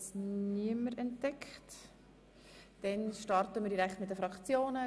Dann starten wir direkt mit den Fraktionen.